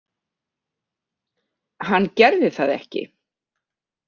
Hann gerði það ekki.